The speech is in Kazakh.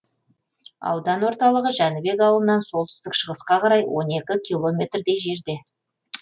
аудан орталығы жәнібек ауылынан солтүстік шығысқа қарай он екі километрдей жерде